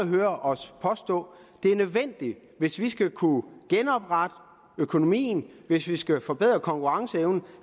høre os påstå hvis vi skal kunne genoprette økonomien hvis vi skal kunne forbedre konkurrenceevnen